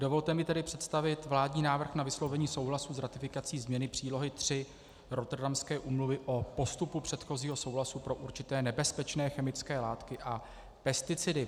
Dovolte mi tedy představit vládní návrh na vyslovení souhlasu s ratifikací změny přílohy 3 Rotterdamské úmluvy o postupu předchozího souhlasu pro určité nebezpečné chemické látky a pesticidy.